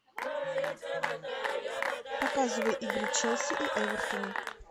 показывай игру челси и эвертона